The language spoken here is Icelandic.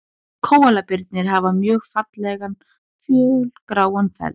Kóalabirnir hafa mjög fallegan fölgráan feld.